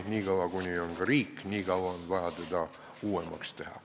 Niikaua kuni on riik, niikaua on vaja teda uuemaks teha.